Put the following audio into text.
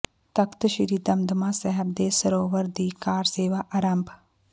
ਤਖ਼ਤ ਸ੍ਰੀ ਦਮਦਮਾ ਸਾਹਿਬ ਦੇ ਸਰੋਵਰ ਦੀ ਕਾਰ ਸੇਵਾ ਅਰੰਭ